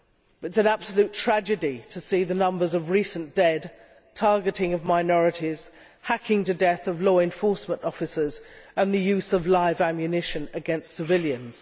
It is an absolute tragedy to see the numbers of recent dead, targeting of minorities, hacking to death of law enforcement officers and the use of live ammunition against civilians.